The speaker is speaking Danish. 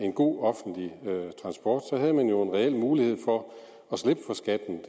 en god offentlig transport så havde man jo en reel mulighed for at slippe for skatten